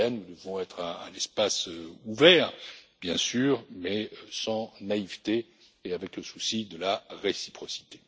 Nous devons être un espace ouvert, bien sûr, mais sans naïveté et avec le souci de la réciprocité.